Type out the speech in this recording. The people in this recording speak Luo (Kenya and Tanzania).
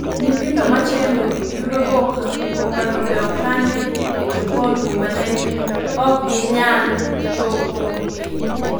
Nyithindo machendo, yudo boka , boka no be okan e jokon kuma ok ginyal chopo ie